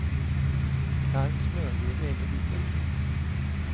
Kall smördeg är inte lika kul.